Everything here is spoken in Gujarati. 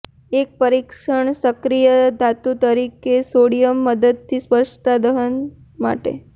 એક પરીક્ષણ સક્રિય ધાતુ તરીકે સોડિયમ મદદથી સ્પષ્ટતા દહન માટે